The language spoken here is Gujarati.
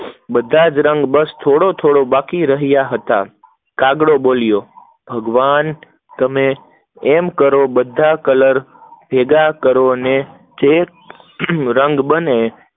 બધા જ રંગ બસ થોડી થોડો બાકી રહ્યા હતા, કાગડો બોલ્યો, ભગવાન તમે એમ કરો આ બધા કલર ભેગા કરો એન જે રંગ બને